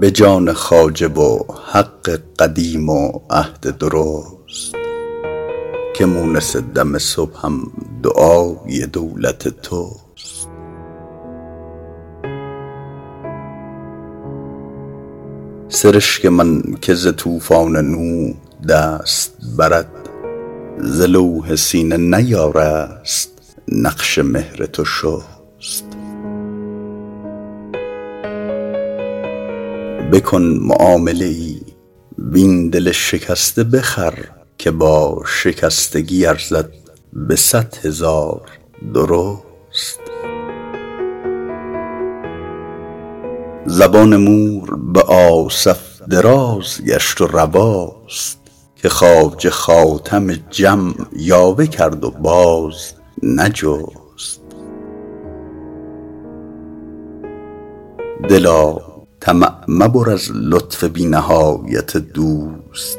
به جان خواجه و حق قدیم و عهد درست که مونس دم صبحم دعای دولت توست سرشک من که ز طوفان نوح دست برد ز لوح سینه نیارست نقش مهر تو شست بکن معامله ای وین دل شکسته بخر که با شکستگی ارزد به صد هزار درست زبان مور به آصف دراز گشت و رواست که خواجه خاتم جم یاوه کرد و باز نجست دلا طمع مبر از لطف بی نهایت دوست